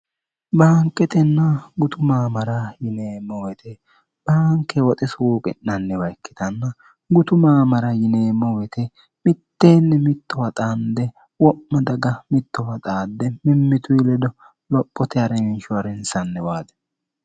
baanketenna gutu maamara yineemmo weyte baanke woxe suuqi'nanniwa ikkitanna gutu maamara yineemmo wete mitteenni mittowa xaande wo'ma daga mittowa xaadde mimmitu ledo lophote a'reminshorari hinsanni waade